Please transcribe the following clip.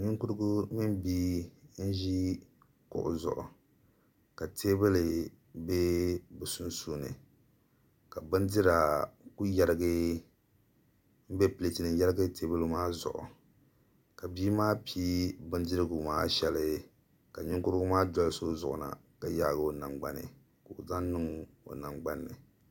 Ninkurigu mini bia n ʒi kuɣu zuɣu ka teebuli ʒɛ bi sunsuuni ka bindira ku bɛ pileeti nim ni n yɛrigi teebuli maa zuɣu ka bia maa pii bindirigu maa shɛli ka ninkurigu maa dolisi o zuɣu na ka yaagi o nangbani ka o zaŋ ni ŋo